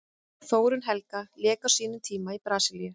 Þórunn Helga lék á sínum tíma í Brasilíu.